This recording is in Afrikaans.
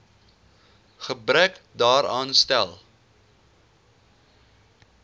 gebrek daaraan stel